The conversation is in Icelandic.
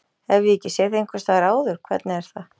Hef ég ekki séð þig einhvers staðar áður, hvernig er það?